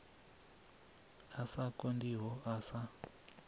a sa konḓiho a sa